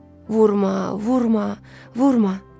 Vurma, vurma, vurma!